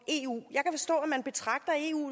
eu